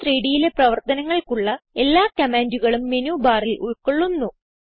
GChem3Dയിലെ പ്രവർത്തനങ്ങൾക്കുള്ള എല്ലാ കമാൻഡുകളും Menubarൽ ഉൾകൊള്ളുന്നു